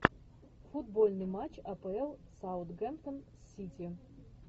футбольный матч апл саутгемптон с сити